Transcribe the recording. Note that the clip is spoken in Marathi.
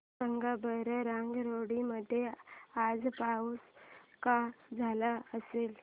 सांगा बरं रंगारेड्डी मध्ये आज पाऊस का झाला असेल